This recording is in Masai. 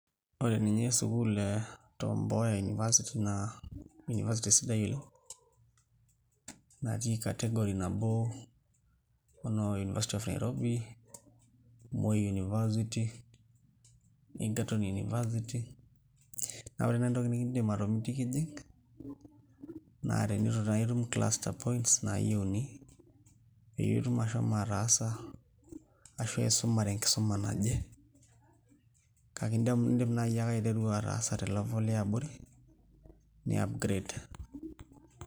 Ore nye sukul e tom mboya university na university natii category nabo onoo university of nairobi ,moi university egerton university, na ore nai entoki nikimitiki ijing na tenitu itum cluster points nayiuni pitumoki ashomo ataasa ashu aisumare enkisuma naje kake indim nai akw ashomo aiteru te level naje ni upgrade